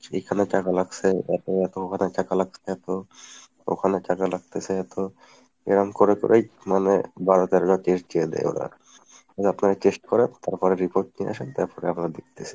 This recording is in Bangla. সেখানে টাকা লাগছে এত এত মানে টাকা লাগছে এত ওখানে টাকা লাগতেছে এত এরম করে করেই মানে বারো তেরোটা test দিয়ে দেয় ওরা এই আপনারা test করান তারপরে report নিয়ে আসেন তারপরে আমরা দেখতেছি।